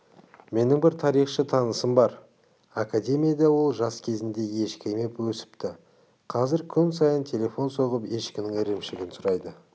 менің бір тарихшы танысым бар академияда ол жас кезінде ешкі еміп өсіпті қазір күн сайын телефон соғып ешкінің ірімшігін сұрайды